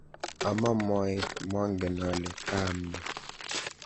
Ama moet, mong'en ale kaam nee.